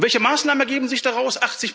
Und welche Maßnahmen ergeben sich daraus?